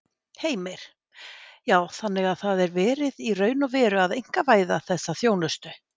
Heimir: Já, þannig að það sé verið í raun og veru að einkavæða þessa þjónustu?